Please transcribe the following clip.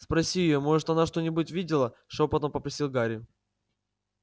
спроси её может она что-нибудь видела шёпотом попросил гарри